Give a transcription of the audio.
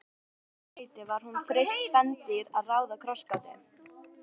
Að öðru leyti var hún þreytt spendýr að ráða krossgátu.